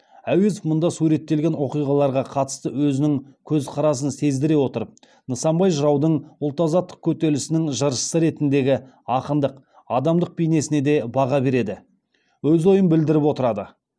әуезов мұнда суреттелген оқиғаларға қатысты өзінің көз қарасын сездіре отырып нысанбай жыраудың ұлт азаттық көтерілісінің жыршысы ретіндегі акындық адамдық бейнесіне де баға береді өз ойын білдіріп отырады